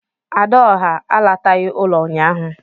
"Adaọhá" àlátaghi ụlọ ụnyaahụ